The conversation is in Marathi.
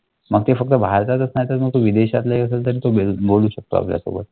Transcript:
मॅग ते फक्त भारताच नाही तर विदेशातले तरी तुम्ही बोलू शकता